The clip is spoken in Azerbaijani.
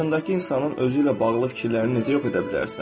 Qarşındakı insanın özü ilə bağlı fikirlərini necə yox edə bilərsən?